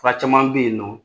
Fura caman bɛ yen nɔ